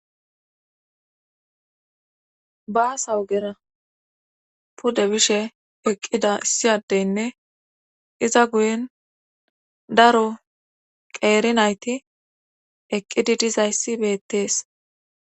Baasawugera pude bishe eqqida issiyadeynne iza guyen daro qeeri nayti eqqidi dizayssi bettees.